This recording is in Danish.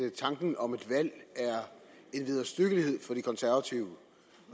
at tanken om et valg er en vederstyggelighed for de konservative